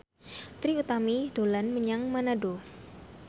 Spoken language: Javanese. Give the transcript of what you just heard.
Trie Utami dolan menyang Manado